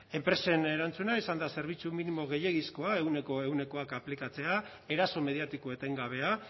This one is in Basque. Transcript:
enpresen erantzuna izan da zerbitzu minimo gehiegizkoa ehuneko ehunak aplikatzea eraso mediatiko etengabea